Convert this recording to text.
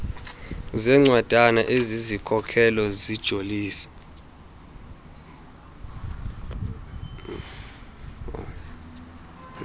zencwadana ezizikhokelo zijolise